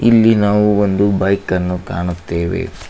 ಇಲ್ಲಿ ನಾವು ಒಂದು ಬೈಕ ಅನ್ನು ಕಾಣುತ್ತೇವೆ.